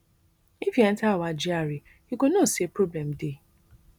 if you enta our gra you go know say problem dey